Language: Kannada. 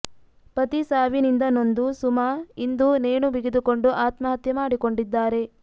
ಪತಿ ಸಾವಿನಿಂದ ನೊಂದು ಸುಮಾ ಇಂದು ನೇಣು ಬಿಗಿದುಕೊಂಡು ಆತ್ಮಹತ್ಯೆ ಮಾಡಿಕೊಂಡಿದ್ದಾರೆ